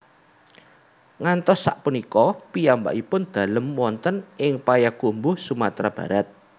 Ngantos sak punika piyambakipun dalem wonten ing Payakumbuh Sumatra Barat